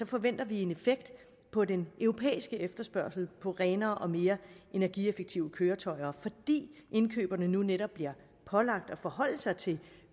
forventer vi en effekt på den europæiske efterspørgsel på renere og mere energieffektive køretøjer fordi indkøberne nu netop bliver pålagt at forholde sig til